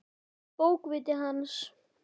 Bókviti hans?